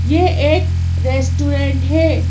ये एक रेस्टोरेंट है।